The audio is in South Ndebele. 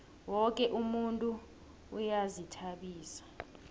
woke umuntu uyazihtabisa